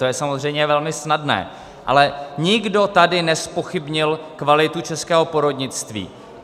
To je samozřejmě velmi snadné, ale nikdo tady nezpochybnil kvalitu českého porodnictví.